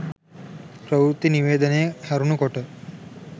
ප්‍රවෘත්ති නිවේදනය හැරුණු කොට